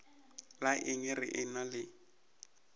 la eng re ena le